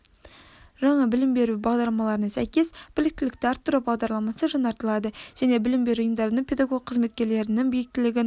жаңа білім беру бағдарламаларына сәйкес біліктілікті арттыру бағдарламасы жаңартылады және білім беру ұйымдарының педагог қызметкерлерінің біліктілігін